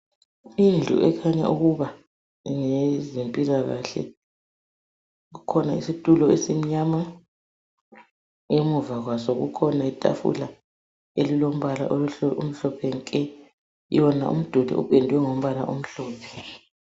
Indlu ekhanya ukuba ngeyezempilakahle, kukhona isitulo esimnyama. Emuva kwaso kukhona itafula elilombala omhlophe nke. Yona umduli upendwe ngombala omhlophe.